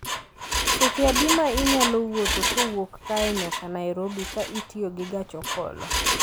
Seche adi ma inyalo wuotho kowuok kae nyaka Nairobi ka itiyo gi gach okolo